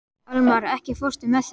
Almar, ekki fórstu með þeim?